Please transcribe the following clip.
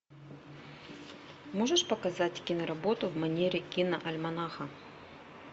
можешь показать киноработу в манере киноальманаха